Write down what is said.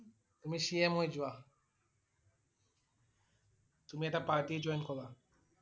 তুমি CM হৈ যোৱা । তুমি এটা party join kora